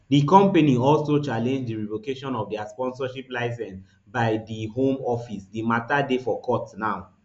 di company also challenge di revocation of dia sponsorship licence by di home office di mata dey for court now